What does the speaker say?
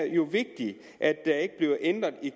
jo er vigtigt at der ikke bliver ændret i